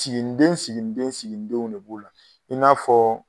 Siginiden siginiden siginidenw de b'o la i n'a fɔɔ